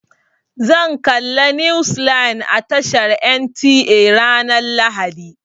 Zan galla news line a tashar NTA ranar lahadi.